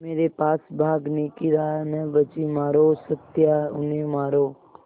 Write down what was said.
मेरे पास भागने की राह न बची मारो सत्या उन्हें मारो